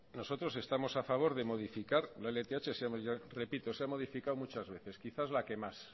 estamos a favor de modificar la lth se ha modificado muchas veces quizás la que más